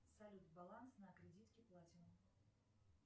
салют баланс на кредитке платинум